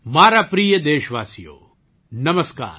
મારા પ્રિય દેશવાસીઓ નમસ્કાર